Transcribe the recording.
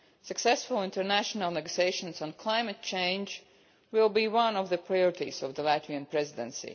Successful international negotiations on climate change will be one of the priorities of the Latvian Presidency.